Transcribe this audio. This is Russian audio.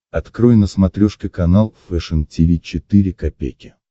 открой на смотрешке канал фэшн ти ви четыре ка